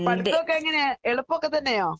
പഠുത്തോക്കെ എങ്ങനെ എളുപ്പോക്കെത്തന്നെയോ?